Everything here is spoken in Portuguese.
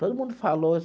Todo mundo falou.